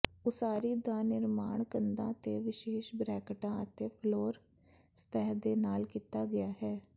ਉਸਾਰੀ ਦਾ ਨਿਰਮਾਣ ਕੰਧਾਂ ਤੇ ਵਿਸ਼ੇਸ਼ ਬ੍ਰੈਕਟਾਂ ਅਤੇ ਫਲੋਰ ਸਤਹ ਦੇ ਨਾਲ ਕੀਤਾ ਗਿਆ ਹੈ